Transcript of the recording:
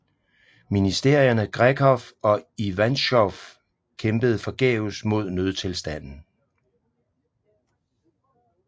Ministerierne Grekov og Ivantschov kæmpede forgæves mod nødstilstanden